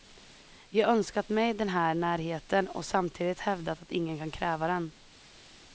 Jag har önskat mig den här närheten, och samtidigt hävdat att ingen kan kräva den.